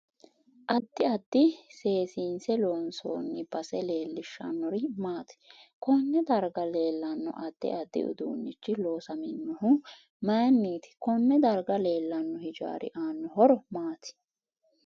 Addi addi seesinse loonsooni base leelishannori maati konne dargga leelanno addi addi uduunichi loosaminohu mayiiniti konne darga leelanno hijaari aano horo maati